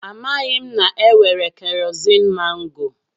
Amaghị m na-enwere keroziin mangoo.